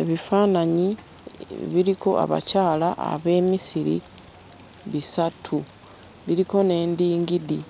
Ebifaananyi biriko abakyala ab'e Misiri bisatu, biriko n'endingidi,